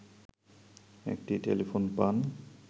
একটি টেলিফোন পান